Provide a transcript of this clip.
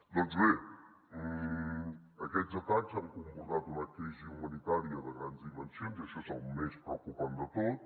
doncs bé aquests atacs han comportat una crisi humanitària de grans dimensions i això és el més preocupant de tot